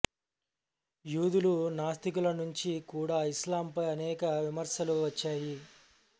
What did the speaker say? యూదులు నాస్తికుల నుంచి కూడా ఇస్లాం పై అనేక విమర్శలు వచ్చాయి